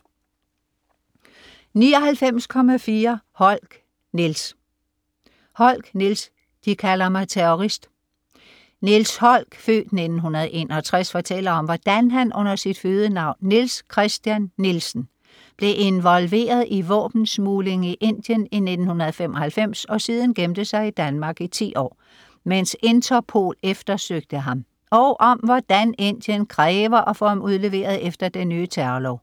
99.4 Holck, Niels Holck, Niels: De kalder mig terrorist Niels Holck (f. 1961) fortæller om hvordan han under sit fødenavn Niels Christian Nielsen blev involveret i våbensmugling i Indien i 1995 og siden gemte sig i Danmark i 10 år, mens Interpol eftersøgte ham, og om hvordan Indien kræver at få ham udleveret efter den nye terrorlov.